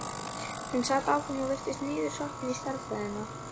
Hún sat áfram og virtist niðursokkin í stærðfræðina.